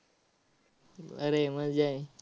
अरे मजा आहे.